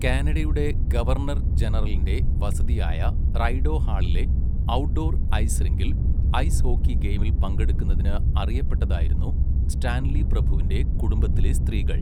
കാനഡയുടെ ഗവർണർ ജനറലിന്റെ വസതിയായ റൈഡോ ഹാളിലെ ഔട്ട്ഡോർ ഐസ് റിങ്കിൽ ഐസ് ഹോക്കി ഗെയിമിൽ പങ്കെടുക്കുന്നതിന് അറിയപ്പെട്ടതായിരുന്നു സ്റ്റാൻലി പ്രഭുവിന്റെ കുടുംബത്തിലെ സ്ത്രീകൾ.